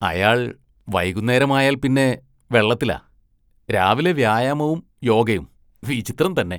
അയാള്‍ വൈകുന്നേരമായാല്‍ പിന്നെ വെള്ളത്തിലാ, രാവിലെ വ്യായാമവും യോഗയും, വിചിത്രം തന്നെ.